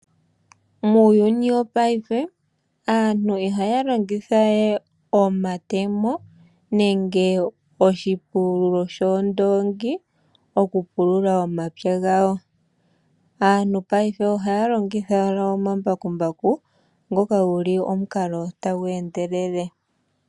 Muuyuni wopaife aantu ihaya longitha we omatemo nenge oshipululo shoondoongi okupulula omapya gawo. Aantu paife ohaya longitha owala omambakumbaku ngoka guli omukalo tagu endelele.